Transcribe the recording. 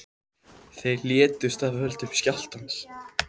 Tveir létust af völdum skjálftans